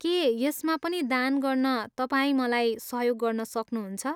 के यसमा पनि दान गर्न तपाईँ मलाई सहयोग गर्न सक्नुहुन्छ?